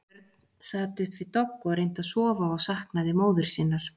Björn sat upp við dogg og reyndi að sofa og saknaði móður sinnar.